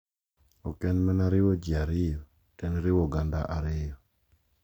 Ok en mana riwo ji ariyo to en riwo oganda ariyo.